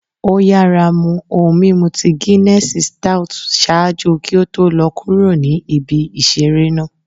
o yara mu ohun mimu ti Ginessii stout ṣaaju ki o to lọ kuro ni ibi isere naa.